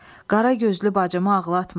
Qaragözlü bacımı ağlatma.